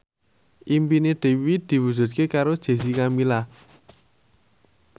impine Dewi diwujudke karo Jessica Milla